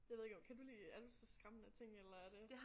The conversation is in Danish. Jeg ved ikke om kan du lide er du til skræmmende ting eller er det